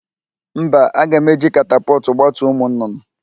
Mba, a ga m eji katapọtụ gbatuo ụmụ nnụnụ